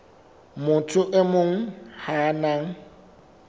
motho e mong ya nang